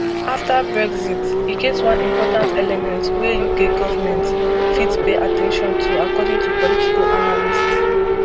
afta brexit e get one important element wey uk government fit pay at ten tion to according to political analysts